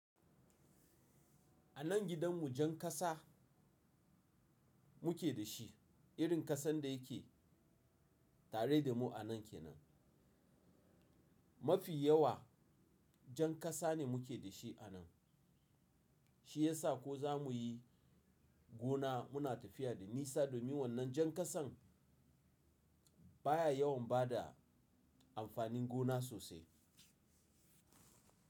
A nan gidan mu jan kasa muke da shi, irin kasan da yake tare da mu a nan ke nan. Mafiya wa jan kasa ne muke da shi a nan. Shi ya sa ko za mu yi gona muna tafiya da nisa domin wannan jan kasan baya yawan bada amfanin gona sosai.